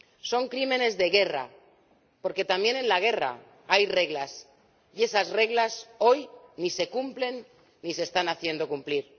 Son crímenes de guerra, porque también en la guerra hay reglas y esas reglas, hoy, ni se cumplen ni se están haciendo cumplir.